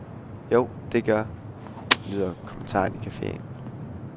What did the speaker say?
Jo, der gør, lyder kommentaren i caféen.